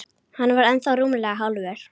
Hann var ennþá rúmlega hálfur.